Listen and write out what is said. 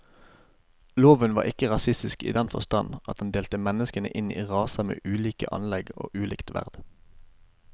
Loven var ikke rasistisk i den forstand at den delte menneskene inn i raser med ulike anlegg og ulikt verd.